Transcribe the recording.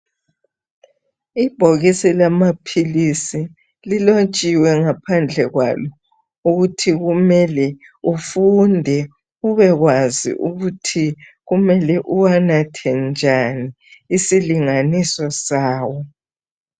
ibhokisi lama philisi lilotshiwe ngaphandle kwalo ukuthi kumele ufunde ubekwazi ukuthi kumele uwanathe njani isilinganiso sawo